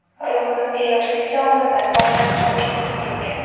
ruhimizga yoshlik chog‘imizdan boshlab chuqur singib ketgan.